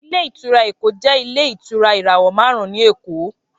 Ilé ìtura Eko jẹ ilé ìtura irawọ marun ni Eko